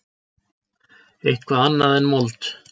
Eitthvað annað en mold.